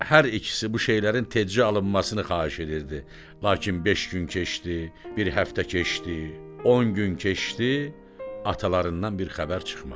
Hər ikisi bu şeylərin tezca alınmasını xahiş edirdi, lakin beş gün keçdi, bir həftə keçdi, 10 gün keçdi, atalarından bir xəbər çıxmadı.